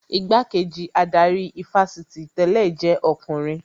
Igbá-kejì adarí ifásitì tẹ̀lẹ́ jẹ́ ọkùnrin